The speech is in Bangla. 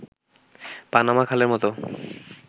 পানামা খালের মতো